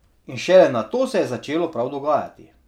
In šele nato se je začelo prav dogajati.